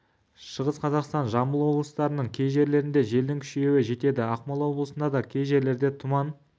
шығыс қазақстан жамбыл облыстарының кей жерлерінде желдің күшеюі жетеді ақмола облысында да кей жерлерде тұман